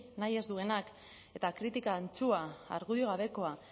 nahi ez duenak eta kritika antzua argudio gabekoa